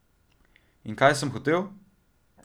In kaj sem hotel?